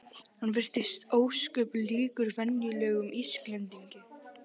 Hann virtist ósköp líkur venjulegum Íslendingi.